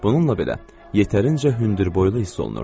Bununla belə yetərincə hündürboylu hiss olunurdu.